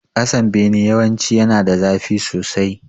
Kasan bene yawanci yana da zafi sosai